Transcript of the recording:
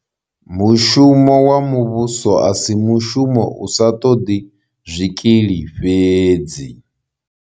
Mushumo wa muvhuso a si mushumo u sa ṱoḓi zwikili fhedzi.